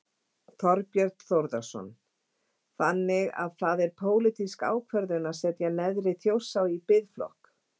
Þorbjörn Þórðarson: Þannig að það er pólitísk ákvörðun að setja neðri Þjórsá í biðflokk?